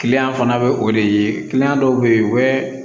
fana bɛ o de ye dɔw bɛ yen u bɛ